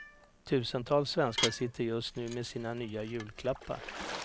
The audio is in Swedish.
Tusentals svenskar sitter just nu med sina nya julklappar.